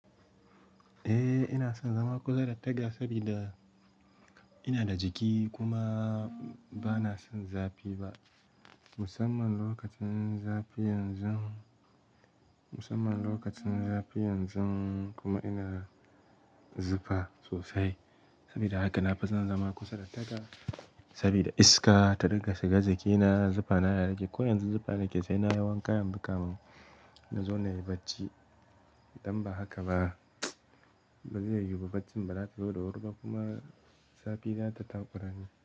Eh ina son zama kusa da taga saboda ina da jiki kuma ba na son zafi ba. Musamman lokacin zafi yanzu, musamman lokacin zafi yanzu kuma ina zufa sosai. Saboda haka na fi son zama kusa da taga saboda iska ta riƙa shiga jikina. Zufa ta ta rage. Ko yanzu zufa nake yi sai na yi wanka yanzu kafin na zo na in yi bacci. Idan ba haka ba, ba zai yiwu ba baccin ba. Zan zo da wuri kuma zafi za ta taku rani.